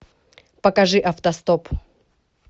покажи автостоп